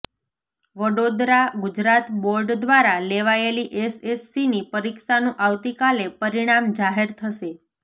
વડોદરા ઃ ગુજરાત બોર્ડ દ્વારા લેવાયેલી એસએસસીની પરીક્ષાનું આવતીકાલે પરિણામ જાહેર થશે